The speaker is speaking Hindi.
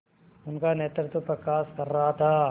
उनका नेतृत्व प्रकाश कर रहा था